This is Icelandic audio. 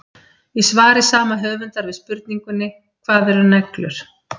Í svari sama höfundar við spurningunni Hvað eru neglur?